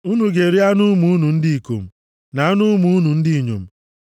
Unu ga-eri anụ ụmụ unu ndị ikom, na anụ ụmụ unu ndị inyom.